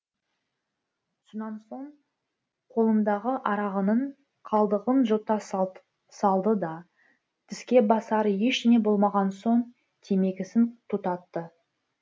сонан соң қолындағы арағының қалдығын жұта салды да тіске басар ештеңе болмаған соң темекісін тұтатты